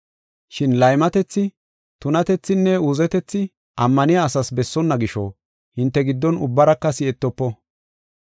Shin laymatethi, tunatethinne uuzetethi ammaniya asaas bessonna gisho hinte giddon ubbaraka si7etofo.